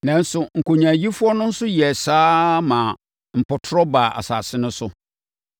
Nanso, nkonyaayifoɔ no nso yɛɛ saa ara maa mpɔtorɔ baa asase no so.